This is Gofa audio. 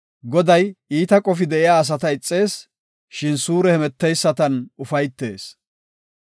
Goday iita qofay de7iya asata ixees; shin suure hemeteysatan ufaytees.